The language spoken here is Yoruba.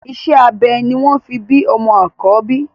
Iṣẹ́ abẹ ni wọ́n fi bí ọmọ àkọ́bí